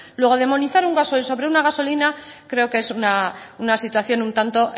luego demonizar un gasoil sobre una gasolina creo que es una situación un tanto